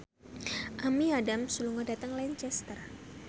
Amy Adams lunga dhateng Lancaster